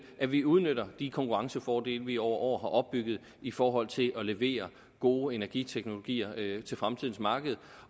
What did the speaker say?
at vi udnytter de konkurrencefordele vi over år har opbygget i forhold til at levere gode energiteknologier til fremtidens marked